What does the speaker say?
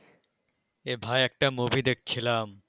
এ ভাই একটা movie দেখছিলাম।